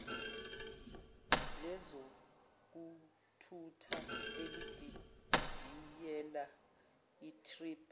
lezokuthutha elididiyele itp